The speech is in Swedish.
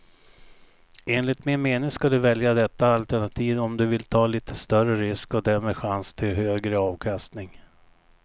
Enligt min mening ska du välja detta alternativ om du vill ta lite större risk och därmed chans till högre avkastning.